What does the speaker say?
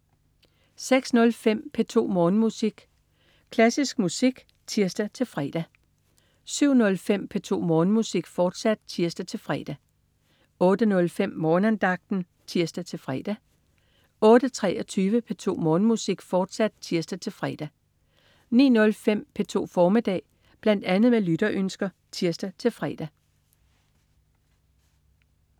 06.05 P2 Morgenmusik. Klassisk musik (tirs-fre) 07.05 P2 Morgenmusik, fortsat (tirs-fre) 08.05 Morgenandagten (tirs-fre) 08.23 P2 Morgenmusik, fortsat (tirs-fre) 09.05 P2 formiddag. Bl.a. med lytterønsker (tirs-fre)